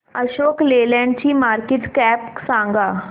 Ashok Leyland ची market cap सांगा